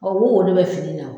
o de bɛ fini na